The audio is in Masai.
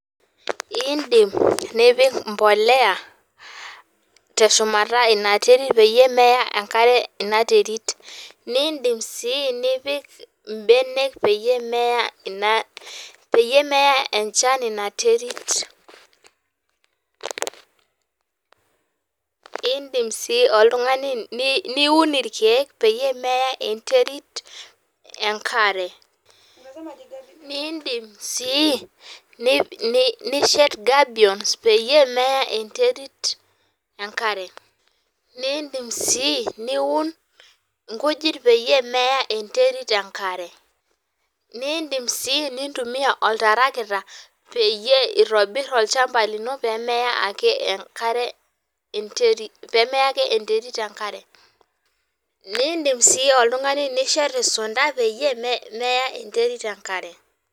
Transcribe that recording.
Iindim nipik mbolea teshumata ina terit peyie meya enkare ina terit. Niindim sii nipik imbenek peyie meya enchan inia terit. Iindim sii oltungani niun irkiek peyie meya enterit enkare. Niindim sii neshet gabions peyie meya enterit enkare. Niindim sii niun inkujit peyie meya enterit enkare. Niindim sii nintumia oltarakita peyie itobir olchamba lino pee meya ake enterit enkare. Niidim sii oltungani nishet isunta peyie meya enterit enkare.